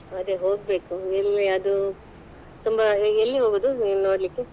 ಅದೇ ಹೋಗ್ಬೇಕು ಇಲ್ಲೇ ಅದು ತುಂಬಾ ಎಲ್ಲಿ ಹೋಗುದು ನೀವ್ ನೋಡ್ಲಿಕ್ಕೆ?